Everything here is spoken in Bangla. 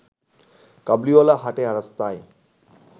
কাবুলিঅলা হাঁটে রাস্তায়